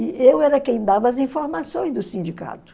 E eu era quem dava as informações do sindicato.